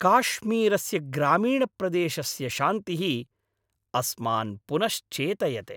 काश्मीरस्य ग्रामीणप्रदेशस्य शान्तिः अस्मान् पुनश्चेतयते।